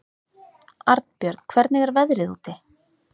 Arnbjörn, hvernig er veðrið úti?